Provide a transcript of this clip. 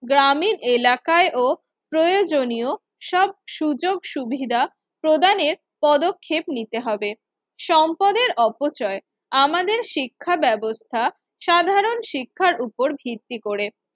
গ্রামীন এলাকায় ও প্রয়োজনীয় সব সুযোগ সুবিধা প্রদানের পদক্ষেপ নিতে হবে। সম্পদের অপচয় আমাদের শিক্ষা ব্যবস্থা সাধারণ শিক্ষার উপর ভিত্তি করে